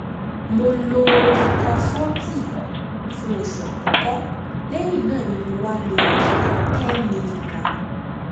mo lo rozucor forty fún oṣù àkọ́kọ́ lẹ́yìn náà ni mo wá lo rozucor ten miligram